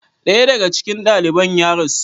Daya daga cikin daliban ya rasu.